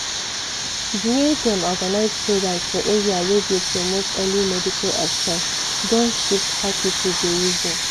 di way dem organize programs for area wey dey promote early medical action don shift how people dey reason.